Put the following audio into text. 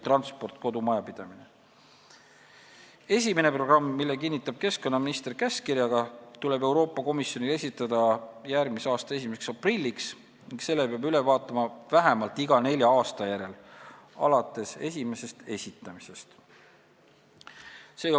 Esimene programm, mille kinnitab keskkonnaminister käskkirjaga, tuleb Euroopa Komisjonile esitada järgmise aasta 1. aprilliks ning selle peab üle vaatama vähemalt iga nelja aasta järel alates esimesest esitamisest.